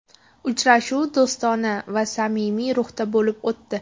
Uchrashuv do‘stona va samimiy ruhda bo‘lib o‘tdi.